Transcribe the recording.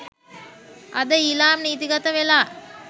අද ඊලාම් නීතිගත වෙලා.